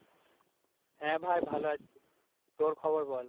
হ্যাঁ, ভাই ভালো আছি তোর খবর বল?